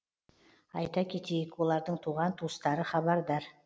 айта кетейік олардың туған туыстары хабардар